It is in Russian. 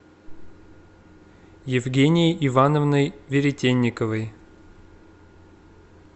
евгенией ивановной веретенниковой